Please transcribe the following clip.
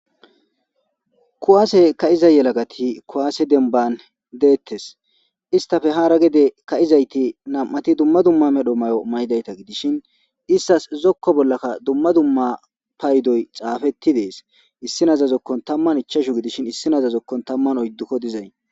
Kuwaase ka7iza yelagati kuwaase demban deettes istafe hara gede ka7izayti nam7ati dumma dumma medho mayo maydayta gidishin istas zokko bollakka dumma dumma paydoy xaafetti dees issi naza zokkon tamman ichashu gidishin issi naza zokkon tamman oyddukko dizay.